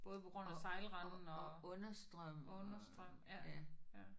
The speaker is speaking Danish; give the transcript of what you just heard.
Og og og understrøm og ja